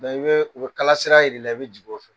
dɔnki i bɛ u bɛ kalasira jira i la, i bɛ t'o fɛ.